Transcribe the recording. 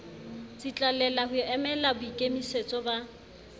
tsitlallela ho emela boikemisetso ba